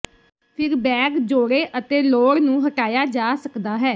ਫਿਰ ਬੈਗ ਜੋੜੇ ਅਤੇ ਲੋੜ ਨੂੰ ਹਟਾਇਆ ਜਾ ਸਕਦਾ ਹੈ